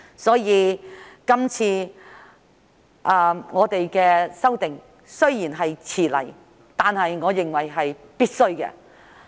因此，今次的修訂雖然來遲了，但我認為是必須的。